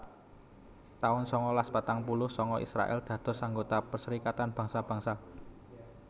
taun sangalas patang puluh sanga Israèl dados anggota Perserikatan Bangsa Bangsa